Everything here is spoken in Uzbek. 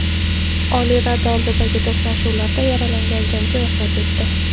Oliy Rada oldidagi to‘qnashuvlarda yaralangan jangchi vafot etdi.